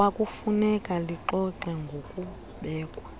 kwakufuneka lixoxe ngokubekwa